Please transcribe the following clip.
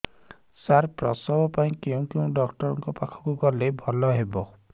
ସାର ପ୍ରସବ ପାଇଁ କେଉଁ ଡକ୍ଟର ଙ୍କ ପାଖକୁ ଗଲେ ଭଲ ହେବ